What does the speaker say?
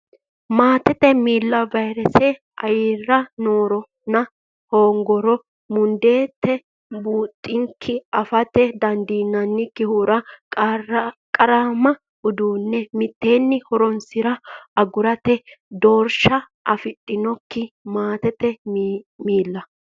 Maatete milla vayrese ayera nooronna hoogginoro mundeensa buunxikki afate dandiinannikkihura qaraamma uduunne mitteenni horonsi ra agurate doorsha afidhinokkite Maatete milla.